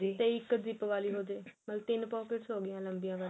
ਤੇ ਇੱਕ zip ਵਾਲੀ ਹੋਜੇ ਮਤਲਬ ਤਿੰਨ pockets ਹੋ ਗਈਆਂ ਲੰਬੀਆਂ ਵਾਲੀਆਂ